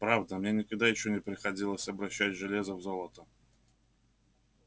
правда мне никогда ещё не приходилось обращать железо в золото